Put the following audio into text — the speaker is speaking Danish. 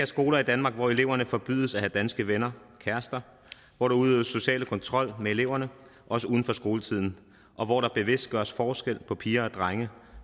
skoler i danmark hvor eleverne forbydes at have danske venner og kærester hvor der udøves social kontrol med eleverne også uden for skoletiden og hvor der bevidst gøres forskel på piger og drenge